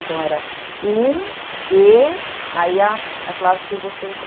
Então, era um é... Aí, a classe que você entrou.